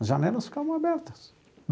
As janelas ficavam abertas.